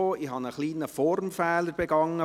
Ich habe einen kleinen Formfehler begangen.